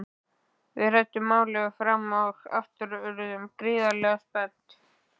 Við ræddum málið fram og aftur og urðum gríðarlega spennt.